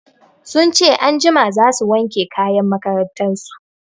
Sun ce anjima za su wanke kayan makarantar su.